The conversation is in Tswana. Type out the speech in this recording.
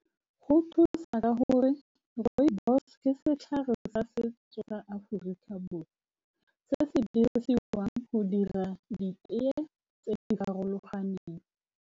Go thusa ka gore rooibos-e ke setlhare sa setso sa Aforika Borwa, se se dirisiwang go dira di-tea tse di farologaneng.